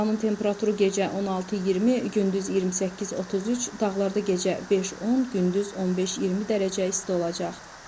Havanın temperaturu gecə 16-20, gündüz 28-33, dağlarda gecə 5-10, gündüz 15-20 dərəcə isti olacaq.